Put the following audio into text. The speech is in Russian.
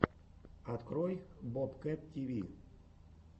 открой бобкэт тиви